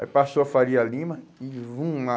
Aí passou a Faria Lima. E vum a